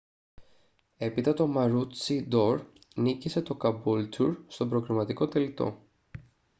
έπειτα το maroochydore νίκησε το caboolture στον προκριματικό τελικό